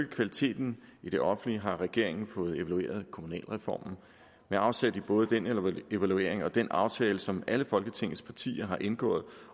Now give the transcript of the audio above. kvaliteten i det offentlige har regeringen fået evalueret kommunalreformen med afsæt i både den evaluering og den aftale som alle folketingets partier har indgået